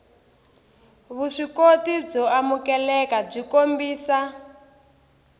vuswikoti byo amukeleka byi kombisa